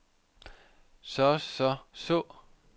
så så så